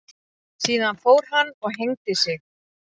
Síðan fór hann og hengdi sig.